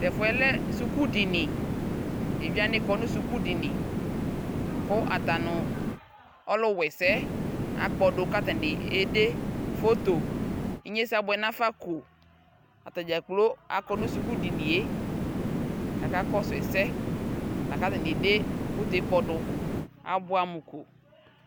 Tʋ ɛfʋ yɛ lɛ sukudini Evidze wanɩ kɔ nʋ sukudini Kʋ ata nʋ ɔlʋwa ɛsɛ yɛ akpɔdʋ kʋ atanɩ ede foto Inyesɛ abʋɛ nafa ko kʋ atanɩ dza kplo akɔ nʋ sukudini yɛ kʋ akakɔsʋ ɛsɛ La kʋ atanɩ ede foto yɛ kpɔdʋ Abʋɛmʋ ko